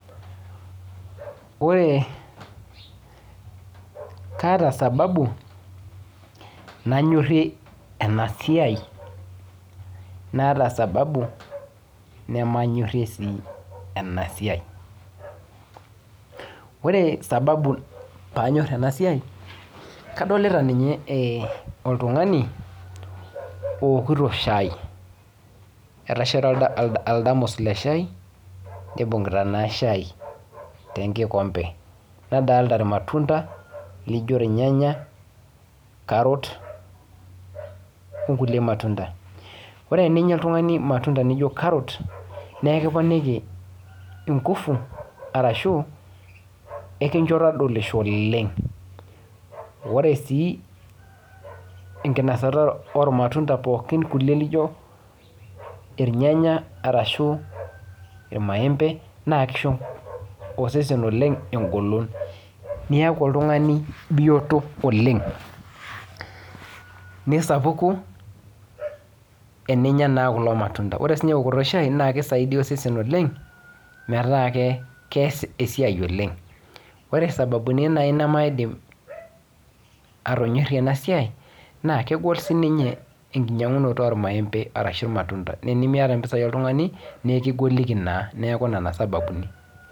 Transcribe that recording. Ore, kaata sababu nanyorrie ena siai naata sababu nemanyorrie sii ena siai. Ore sababu paanyorr ena siai kadolita ninye oltung'ani owokito shae. Eeta oldamus le shae nibung'ita naa shae te nkikombe. Nadolita irmatunda lijo irnyanga, carrots o nkulie matunda. Ore eninya oltung'ani irmatunda lijo carrot nekiponiki nguvu arashu ekincho todolisho oleng. Ore sii enkinosata ormatunda pookin kulie lijo irnyanya arashu irmaembe naa kisho osesen engolon oleng. Niaku oltung'ani bioto, nisapuku eninya naa kulo matunda. Ore siininye eokoto e shai naa kitobirr osesen oleng' metaa kees esiai oleng. Ore isababuni naai nemaidim atonyorrie ena siai naa kegol siininye enkinyang'unoto ormaembe ashu irmatunda. Naa enemiata impisai oltung'ani nekigoliki naa, neeku nena isababuni